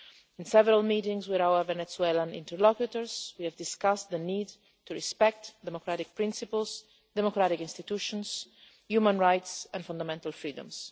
In several meetings with our Venezuelan interlocutors we have discussed the need to respect democratic principles, democratic institutions, human rights and fundamental freedoms.